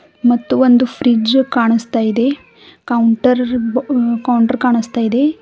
ಮತ್ತು ಒಂದು ಫ್ರಿಡ್ಜ್ ಕಾಣುಸ್ತಾ ಇದೆ ಕೌಂಟರ್ ಬ- ಕೌಂಟರ್ ಕಾಣಿಸ್ತಾ ಇದೆ.